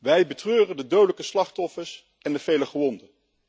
Wij betreuren de dodelijke slachtoffers en de vele gewonden.